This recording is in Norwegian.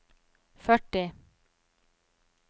førti